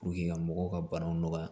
ka mɔgɔw ka banaw nɔgɔya